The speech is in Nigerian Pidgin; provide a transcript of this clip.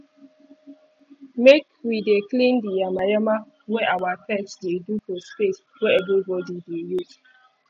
make wi dey clean di yama yama wey awa pets dey do for space wey everybody dey use